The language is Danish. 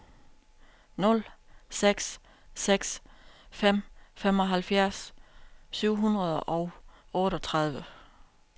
nul seks seks fem femoghalvfjerds syv hundrede og otteogtredive